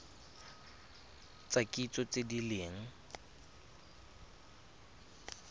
tsa kitso tse di leng